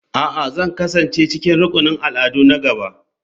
A'a, Zan kasance cikin rukunin al'adu na gaba.